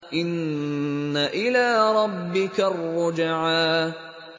إِنَّ إِلَىٰ رَبِّكَ الرُّجْعَىٰ